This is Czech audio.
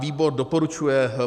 Výbor doporučuje